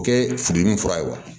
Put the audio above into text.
O kɛ furudimi fura ye wa